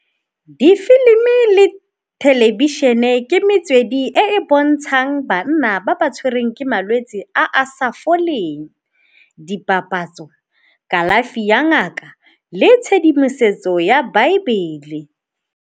Difilimi le thelebišhene ke metswedi e e bontshang banna ba ba tshwereng ke malwetse a a sa foleng. Dipapatso, kalafi ya ngaka le tshedimosetso ya baebele.